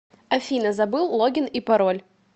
афина забыл логин и пароль